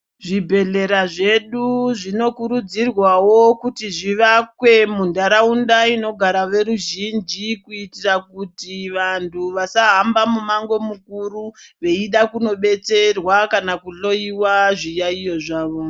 Zvibhedhlera zvedu zvinokurudzirwawo kuti zvivakwe muntaraunda inogara veruzhinji kuitira kuti vantu vasahamba mumango mukuru veida kunobetserwa kana kuhloyiwa zviyaiyo zvavo.